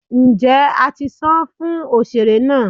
njé a ti sán fún osere náá?